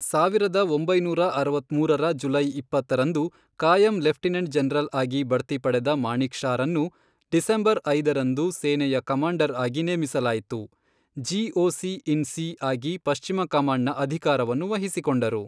ಸಾವಿರದ ಒಂಬೈನೂರಅರವತ್ಮೂರರ ಜುಲೈ ಇಪ್ಪತ್ತರಂದು, ಕಾಯಂ ಲೆಫ್ಟಿನೆಂಟ್ ಜನರಲ್ ಆಗಿ ಬಡ್ತಿ ಪಡೆದ ಮಾಣಿಕ್ ಷಾರನ್ನು, ಡಿಸೆಂಬರ್ ಐದರಂದು ಸೇನೆಯ ಕಮಾಂಡರ್ ಆಗಿ ನೇಮಿಸಲಾಯಿತು, ಜಿಒಸಿ ಇನ್ ಸಿ ಆಗಿ ಪಶ್ಚಿಮ ಕಮಾಂಡ್ನ ಅಧಿಕಾರವನ್ನು ವಹಿಸಿಕೊಂಡರು.